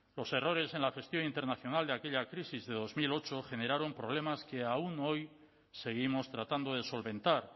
los errores en la gestión internacional de aquella crisis de dos mil ocho generaron problemas que aún hoy seguimos tratando de solventar